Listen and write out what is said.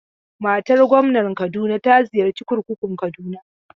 Matar gwamnar Kaduna ta ziyarci kurkukun Kaduna.